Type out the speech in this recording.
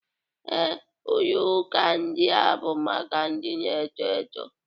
Ee, Ulo uka ndia bụ maka ndị na-eto eto